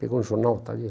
Pegou um jornal, está ali.